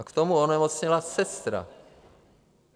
A k tomu onemocněla sestra.